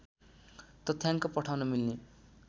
तथ्याङ्क पठाउन मिल्ने